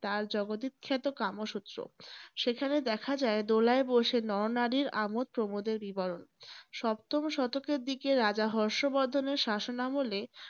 তাঁর জগৎ বিখ্যাত কামসূত্র। সেখানে দেখা যায়, দোলায় বসে নরনারীর আমোদ প্রমোদের বিবরণ। সপ্ততম শতকের দিকে রাজা হর্ষ বর্ধনের শাসন আমলে